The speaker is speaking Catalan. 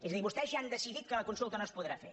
és a dir vostès ja han decidit que la consulta no es podrà fer